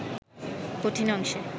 কঠিন অংশে